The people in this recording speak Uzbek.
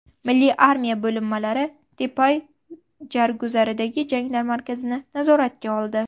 Milliy armiya bo‘linmalari Tepai Jarguzardagi jangarilar markazini nazoratiga oldi.